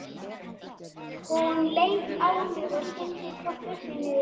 Hún leit á mig og skildi hvorki upp né niður.